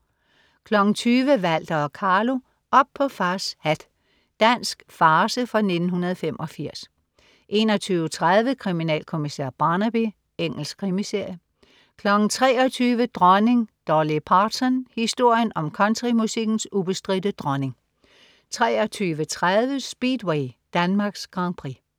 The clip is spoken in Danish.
20.00 Walter og Carlo, op på fars hat. Dansk farce fra 1985 21.30 Kriminalkommissær Barnaby. Engelsk krimiserie 23.00 Dronning Dolly Parton. Historien om countrymusikkens ubestridte dronning 23.30 Speedway: Danmarks Grand Prix